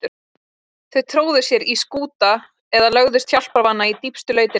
Þau tróðu sér í skúta eða lögðust hjálparvana í dýpstu lautirnar.